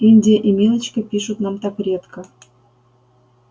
индия и милочка пишут нам так редко